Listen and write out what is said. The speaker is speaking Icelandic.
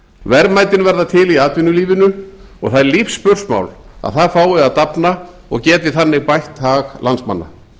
verðmætin verða til í atvinnulífinu og það er lífsspursmál að það fái að dafna og geti þannig bætt hag landsmanna